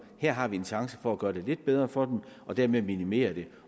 her har vi en chance for at gøre det lidt bedre for dem og dermed minimere det